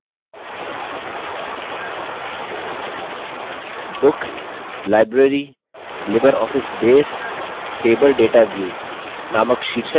books – library – libreoffice base: table data view नामक शीर्षक के साथ एक नया window opens होता है